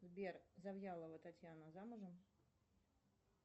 сбер завьялова татьяна замужем